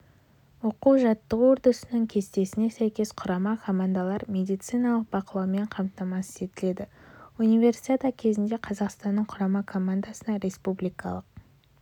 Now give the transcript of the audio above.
оқу-жаттығу үрдісінің кестесіне сәйкес құрама командалар медициналық бақылаумен қамтамасыз етіледі универсиада кезінде қазақстанның құрама командасына республикалық